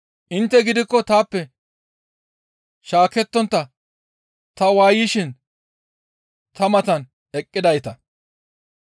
«Intte gidikko taappe shaakettontta ta waayishin ta matan eqqidayta.